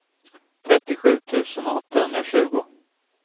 trettiosju tusen åttahundratjugo